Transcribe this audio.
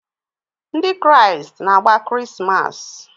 Ndị Kraịst na-agba Krismas.